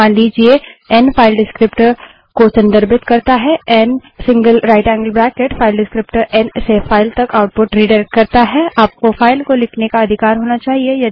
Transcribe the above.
मान लीजिए n file descriptor को संदर्भित करता है ngtनरेशन n single right angled bracket file descriptor n से फाइल तक आउटपुट रिडाइरेक्ट करता है आपको फाइल को लिखने का अधिकार होना चाहिए